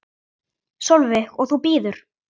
Sólveig: Og þú bíður?